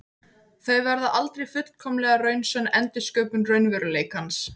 Þau verða aldrei fullkomlega raunsönn endursköpun raunveruleikans.